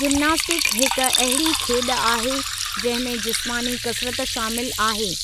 gymnastic हिकु अहिड़ी खेॾु आहे जंहिं में जिस्मानी कसरत शामिल आहे